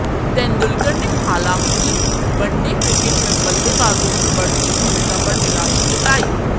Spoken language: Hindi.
तेंदुलकर ने हालांकि वनडे क्रिकेट में बल्लेबाजों की बढती भूमिका पर निराशा जताई